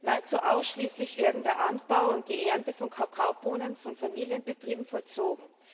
Nahezu ausschließlich werden der Anbau und die Ernte von Kakaobohnen von Familienbetrieben vollzogen.